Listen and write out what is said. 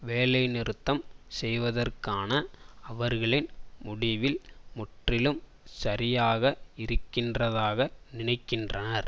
வேலைநிறுத்தம் செய்வதற்கான அவர்களின் முடிவில் முற்றிலும் சரியாக இருக்கின்றதாக நினைக்கின்றனர்